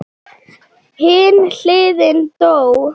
Hin hliðin dó.